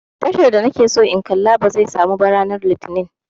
Tashar da na ke so in kalla ba zai samu ba ranar litinin